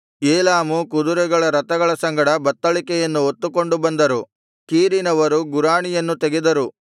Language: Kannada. ಏಲಾಮು ಕುದರೆಗಳ ರಥಗಳ ಸಂಗಡ ಬತ್ತಳಿಕೆಯನ್ನು ಹೊತ್ತುಕೊಂಡು ಬಂದರು ಕೀರಿನವರು ಗುರಾಣಿಯನ್ನು ತೆಗೆದರು